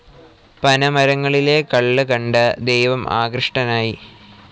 പനമരങ്ങളിലെ കള്ള് കണ്ട് ദൈവം ആകൃഷ്ടനായി.